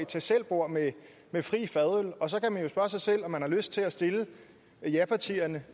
tag selv bord med med fri fadøl og så kan man jo spørge sig selv om man har lyst til at stille japartierne